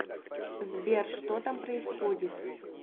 сбер что там происходит